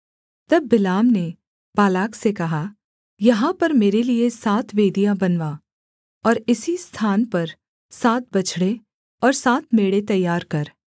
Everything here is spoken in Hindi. तब बिलाम ने बालाक से कहा यहाँ पर मेरे लिये सात वेदियाँ बनवा और इसी स्थान पर सात बछड़े और सात मेढ़े तैयार कर